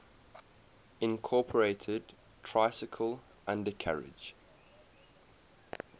incorporated tricycle undercarriage